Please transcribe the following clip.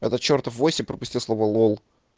это чертов войси пропустил слово лол